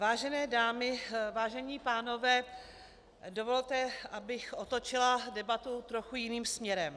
Vážené dámy, vážení pánové, dovolte, abych otočila debatu trochu jiným směrem.